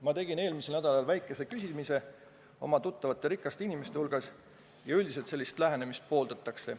Ma tegin eelmisel nädalal väikese küsitluse oma tuttavate rikaste inimeste hulgas ja üldiselt sellist lähenemist pooldatakse.